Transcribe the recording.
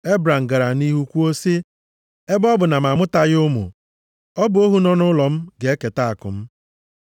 Ebram gara nʼihu kwuo sị, “Ebe ọ bụ na m amụtaghị ụmụ, ọ bụ ohu nọ nʼụlọ m ga-eketa akụ m.”